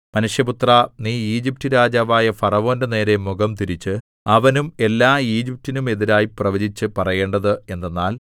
മനുഷ്യപുത്രാ നീ ഈജിപ്റ്റ് രാജാവായ ഫറവോന്റെനേരെ മുഖംതിരിച്ച് അവനും എല്ലാ ഈജിപ്റ്റിനും എതിരായി പ്രവചിച്ചു പറയേണ്ടത് എന്തെന്നാൽ